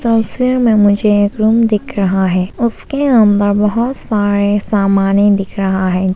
तस्वीर में मुझे एक रूम दिख रहा है उसके अंदर बहुत सारे सामाने दिख रहा है।